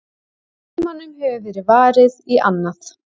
Tímanum hefur verið varið í annað.